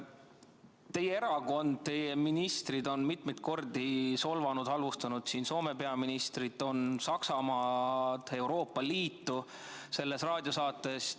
Teie erakond, teie ministrid on mitmeid kordi solvanud ja halvustanud Soome peaministrit, Saksamaad, Euroopa Liitu selles raadiosaates.